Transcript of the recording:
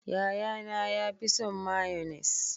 Yaya na ya fi son mayonnaise.